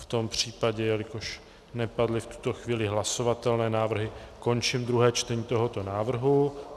V tom případě, jelikož nepadly v tuto chvíli hlasovatelné návrhy, končím druhé čtení tohoto návrhu.